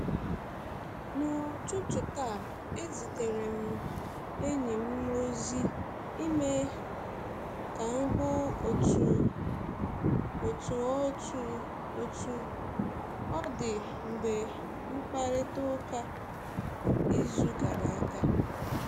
N'ụtụtụ taa, ezitere um m enyi m ozi email ka m hụ otú um ọ otú um ọ dị mgbe um mkparịta ụka izu gara aga.